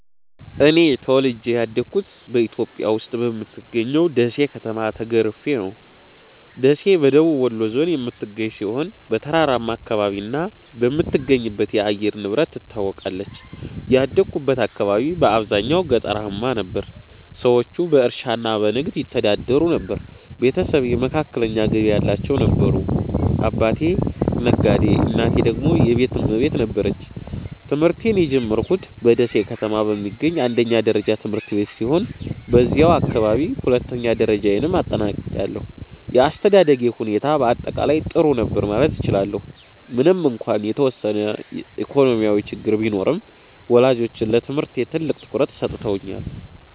እኔ ተወልጄ ያደግሁት በኢትዮጵያ ውስጥ በምትገኘው ደሴ ከተማ ተገርፌ ነው። ደሴ በደቡብ ወሎ ዞን የምትገኝ ሲሆን፣ በተራራማ አካባቢና በምትገኝበት የአየር ንብረት ትታወቃለች። ያደግሁት አካባቢ በአብዛኛው ገጠራማ ነበር፤ ሰዎቹ በእርሻና በንግድ ይተዳደሩ ነበር። ቤተሰቤ መካከለኛ ገቢ ያላቸው ነበሩ፤ አባቴ ነጋዴ እናቴ ደግሞ የቤት እመቤት ነበረች። ትምህርቴን የጀመርኩት በደሴ ከተማ በሚገኝ አንደኛ ደረጃ ትምህርት ቤት ሲሆን፣ በዚያው አካባቢ ሁለተኛ ደረጃዬንም አጠናቅቄያለሁ። የአስተዳደጌ ሁኔታ በአጠቃላይ ጥሩ ነበር ማለት እችላለሁ፤ ምንም እንኳን የተወሰነ ኢኮኖሚያዊ ችግር ቢኖርም፣ ወላጆቼ ለትምህርቴ ትልቅ ትኩረት ሰጥተውኛል።